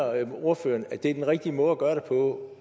ordføreren at det er den rigtige måde at gøre det på